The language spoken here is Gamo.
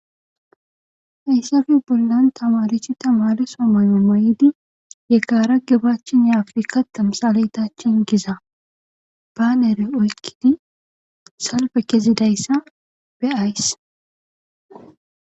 Hayssafi bollan tamarichi tamaleso mayo mayidi ye kaara gibachin ye afrika tamsaletachin giza baanere oykkidi salfe kezidayssa be7ays.